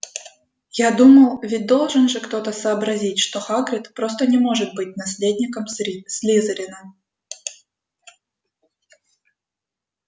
я думал ведь должен же кто-то сообразить что хагрид просто не может быть наследником слизерина